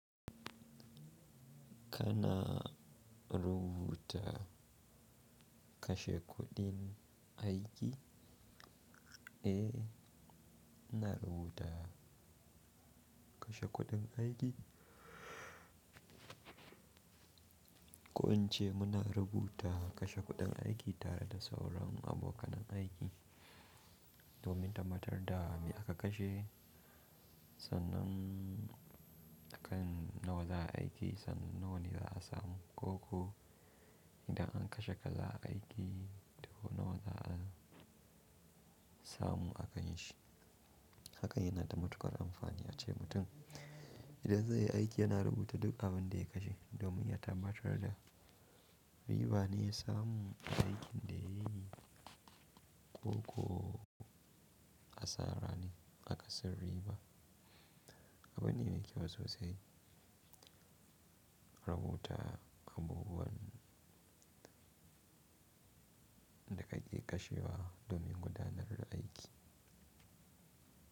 Kana rubuta kashe kuɗin aiki? Eh, ina rubuta kashe kuɗin aiki. Ko in ce muna rubuta kashe kuɗin aiki tare da sauran abokan aiki domin tabbatar da me aka kashe, sannan akan nawa za a aiki, sannuwan za a samu ko ko idan an kashe kaza aiki, to nawa za a samu a kanshi. Haka yana da matuƙar amfani, a ce mutum. Idan zai yi aiki, yana rubuta duk abin da ya kashe domin ya tabbatar da riba ne ya samu aikin da yayi ko ko asara ne aka sin riba. Abin ne mai kyau sosai rubuta abubuwan da kake kashewa domin gudanar da aiki.